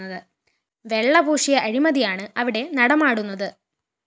വെള്ളപൂശിയ അഴിമതിയാണ് അവിടെ നടമാടുന്നത്